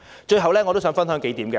最後，我想跟大家分享數點。